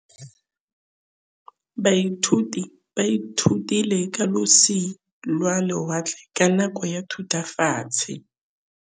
Baithuti ba ithutile ka losi lwa lewatle ka nako ya Thutafatshe.